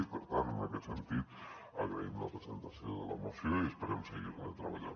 i per tant en aquest sentit agraïm la presentació de la moció i esperem seguir hi treballant